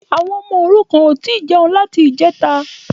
Àwọn ọmọ òrukàn ò tí ì jẹnu láti ìjẹta